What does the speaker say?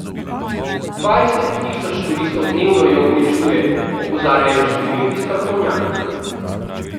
Dvajset tisoč turistov dnevno jo uničuje, opozarjajo številni strokovnjaki.